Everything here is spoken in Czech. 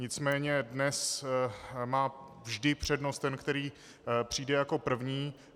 Nicméně dnes má vždy přednost ten, který přijde jako první.